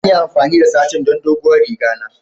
Zan yi amfani da satin don doguwar riga na.